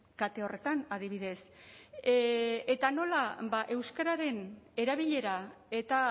kate horretan adibidez eta nola ba euskararen erabilera eta